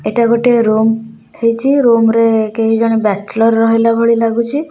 ଏଟା ଗୋଟେ ରୁମ୍ ହେଇଚି ରୁମ୍ ରେ କେହି ଜଣେ ବ୍ୟାଚଲର ରହିଲା ଭଳି ଲାଗୁଚି।